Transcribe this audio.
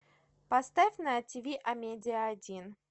поставь на тв амедиа один